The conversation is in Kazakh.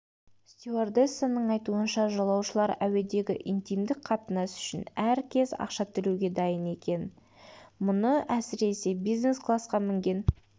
стюардессаның айтуынша жолаушылар әуедегі интимдік қатынас үшін әркез ақша төлеуге дайын екен мұны әсіресе бизнес-классқа мінген